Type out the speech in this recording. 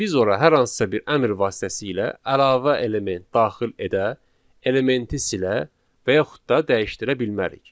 Biz ora hər hansısa bir əmr vasitəsilə əlavə element daxil edə, elementi silə və yaxud da dəyişdirə bilmərik.